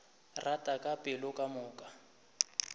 rata ka pelo ka moka